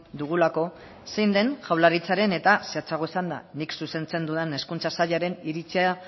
dugulako zein den jaurlaritzaren eta zehatzago esanda nik zuzentzen dudan hezkuntza sailaren iritzia